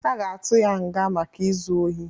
Aga atụ ya nga maka izu ọhi